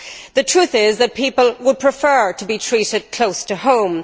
The truth is that people would prefer to be treated close to home.